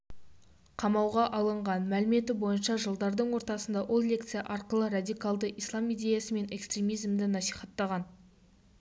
қамауға алынған мәліметі бойынша жылдардың ортасында ол лекция арқылы радикалды ислам идеясы мен экстремизимді насихаттаған